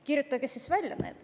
Kirjutage need siis välja.